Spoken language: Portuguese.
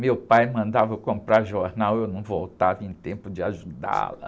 Meu pai mandava eu comprar jornal e eu não voltava em tempo de ajudá-la.